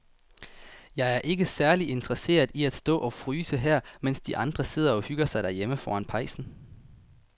Jeg er ikke særlig interesseret i at stå og fryse her, mens de andre sidder og hygger sig derhjemme foran pejsen.